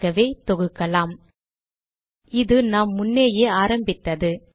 ஆகவே தொகுக்கலாம் - இது நாம் முன்னேயே ஆரம்பித்தது